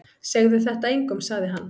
Segðu þetta engum sagði hann.